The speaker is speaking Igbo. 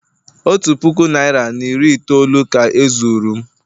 otu puku naira na iri itoolu ka e zuru m